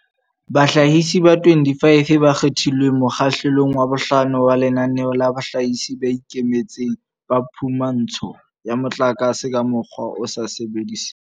Bahlahisi ba 25 ba kgethilweng mokgahle long wa bohlano wa Lenaneo la Bahlahisi ba Ikemetseng ba Phumantsho ya Motlakase ka Mokgwa o sa Sebediseng